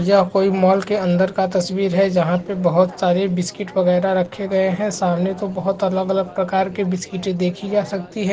यह कोई मॉल के अंदर का तस्वीर है जहाँ पे बहौत सारे बिस्किट वगेरा रखे गए हैं सामने तो बहौत अलग-अलग प्रकार के बिस्किटें देखि जा सकती है।